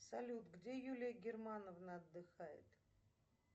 салют где юлия германовна отдыхает